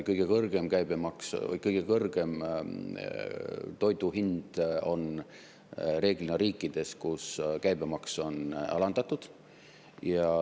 Kõige kõrgem toidu hind on reeglina riikides, kus käibemaks on alandatud.